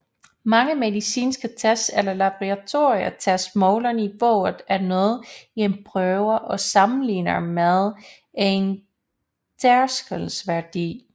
Mange medicinske tests eller laboratorietests måler niveauet af noget i en prøve og sammenligner med en tærskelværdi